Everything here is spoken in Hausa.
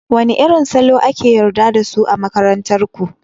Wane irin salo ake yarda da su a makarantar ku?